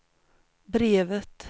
brevet